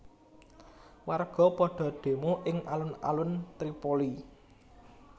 Warga padha demo ing alun alun Tripoli